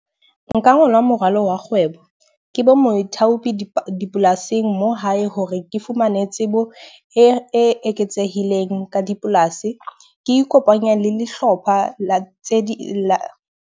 Nka ngola moralo wa kgwebo, ke bo moithaopi di dipolasing mo hae hore ke fumane tsebo e eketsehileng ka dipolasi. Ke ikopanya le dihlopha la tse ding .